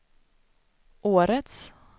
årets